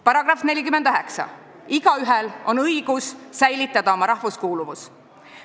"§ 49: "Igaühel on õigus säilitada oma rahvuskuuluvus.